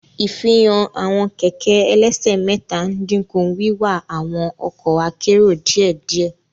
Ifihan awọn kẹkẹ ẹlẹsẹ mẹta n dinku wiwa awọn ọkọ akero diẹdiẹ.